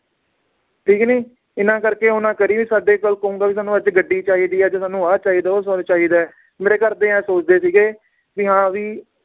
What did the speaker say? ਠੀਕ ਨੀ ਇਹਨਾਂ ਕਰਕੇ ਉਹ ਨਾ ਕਰੀ ਵੀ ਸਾਡੇ ਕੋਲ ਕਹੂੰਗਾ ਵੀ ਸਾਨੂ ਅੱਜ ਗੱਡੀ ਚਾਹੀਦੀ ਏ ਅੱਜ ਸਾਨੂੰ ਆਹ ਚਾਹੀਦਾ ਏ ਉਹ ਚਾਹੀਦਾ ਏ ਮੇਰੇ ਘਰਦੇ ਐਹ ਸੋਚਦੇ ਸੀਗੇ ਵੀ ਹਾਂ ਵੀ